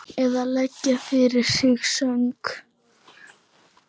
Eða leggja fyrir sig söng?